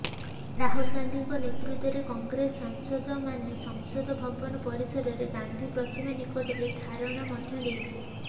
ରାହୁଲ ଗାନ୍ଧୀଙ୍କ ନେତୃତ୍ବରେ କଂଗ୍ରେସ ସାଂସଦମାନେ ସଂସଦ ଭବନ ପରିସରରେ ଗାନ୍ଧୀ ପ୍ରତିମା ନିକଟରେ ଧାରଣା ମଧ୍ୟ ଦେଇଥିଲେ